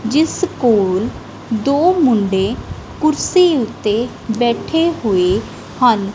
ਜਿਸ ਕੋਲ ਦੋ ਮੁੰਡੇ ਕੁਰਸੀ ਉੱਤੇ ਬੈਠੇ ਹੋਏ ਹਨ।